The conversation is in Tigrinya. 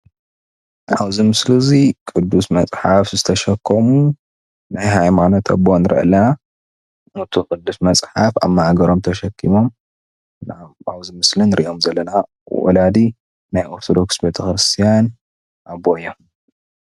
ኣብዚ ምስሊ እዙይ ቅዱስ መፅሓፍ ዝተሸከሙ ናይ ሃይማኖት ኣቦ ንርኢ ኣለና። እቲ ቅዱስ መፅሓፍ ኣብ ማእገሮም ተሸኪሞም ኣብዚ ምስሊ ንሪኦም ዘለና ወላዲ ናይ ኦርቶዶክስ ቤተክርስትያን ኣቦ እዮም ።